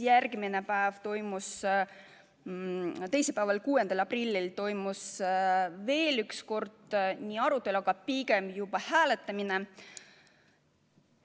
Järgmisel päeval ehk teisipäeval, 6. aprillil toimus veel üks arutelu, aga pigem juba hääletamine.